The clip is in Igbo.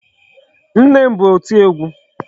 Nne ma bụ oti egwu.